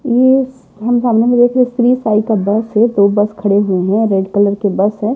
ये हम सामने में देख रहे श्री साई का बस है दो बस खड़े हुए हैं रेड कलर के बस है।